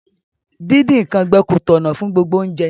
Díndín nkan gbẹ ko tọ̀nà fun gbogbo ounje